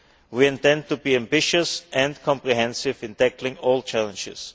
We intend to be ambitious and comprehensive in tackling all challenges.